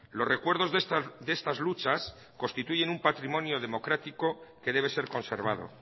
los recuerdos de estas luchas constituyen un patrimonio democrático que debe ser conservado